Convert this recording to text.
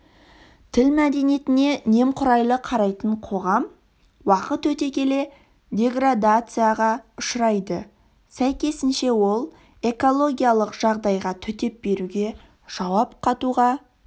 тіл мәдениетіне немқұрайлы қарайтын қоғам уақыт өте келе деградацияға ұшырайды сәйкесінше ол экологиялық жағдайға төтеп беруге жауап қатуға